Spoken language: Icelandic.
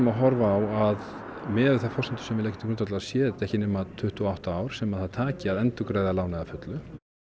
að horfa á að miðað við þær forsendur sem við leggjum til grundvallar séu þetta ekki nema tuttugu og átta ár sem það taki að endurgreiða lánið að fullu